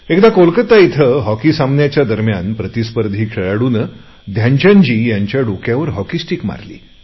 एकदा कोलकाता येथे हॉकी सामन्याच्या दरम्यान प्रतिस्पर्धी खेळाडूने ध्यानचंदजींच्या डोक्यावर हॉकी स्टीक मारली